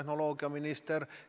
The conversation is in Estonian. Ma mõtlen riike väljaspool Eestit.